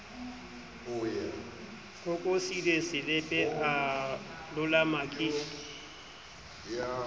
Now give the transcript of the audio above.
kokosile selepe a loloma ke